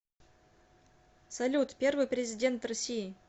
салют первый президент россии